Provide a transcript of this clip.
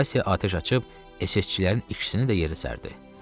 Vasiya atəş açıb SSçilərin ikisini də yerə sərdi.